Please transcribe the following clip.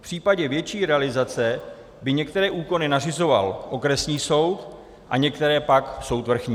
V případě větší realizace by některé úkony nařizoval okresní soud a některé pak soud vrchní.